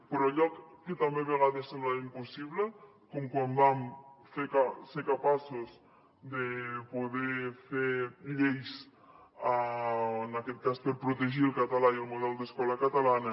però allò que també a vegades semblava impossible com quan vam ser capaços de poder fer lleis en aquest cas per protegir el català i el model d’escola catalana